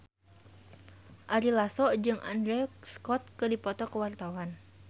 Ari Lasso jeung Andrew Scott keur dipoto ku wartawan